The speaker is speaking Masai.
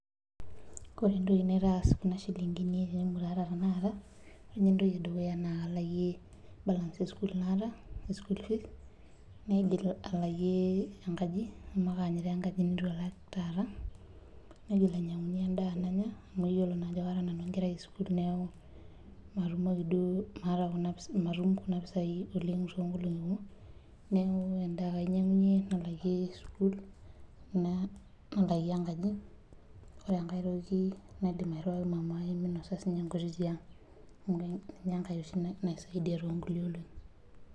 Ore entoki naitaas kuna shilinkini tenemutu aata tenakata, ore entoki edukuya naa kalakie balance esukul naata ,naigil alakie enkaji amu kaanyita enkaji neitu alak taata ,naitoki ainyangunyie endaa nanya amu yiolo ajo kara nanu enkerai esukul neeku natum kuna pisai oleng toonkolongi kumok, neeku endaa ake ainyangunyie naalaki sukul naalakie enkaji, ore enkae toki naidim airiwaki mamai minosa siininye enkiti toki tiang. Amu ninye enkae oshi naisaidia toonkulie olongi.